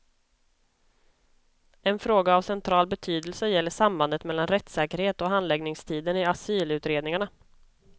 En fråga av central betydelse gäller sambandet mellan rättssäkerhet och handläggningstiden i asylutredningarna.